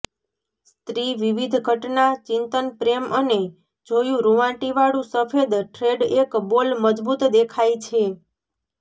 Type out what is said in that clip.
સ્ત્રી વિવિધ ઘટના ચિંતન પ્રેમ અને જોયું રુંવાટીવાળું સફેદ થ્રેડ એક બોલ મજબૂત દેખાય છે